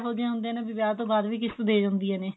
ਇਹੋ ਜਿਹਾਂ ਹੁੰਦਿਆ ਨੇ ਵਿਆਹ ਤੋਂ ਬਾਅਦ ਵੀ ਕਿਸ਼ਤ ਦੇ ਜਾਂਦਿਆ ਨੇ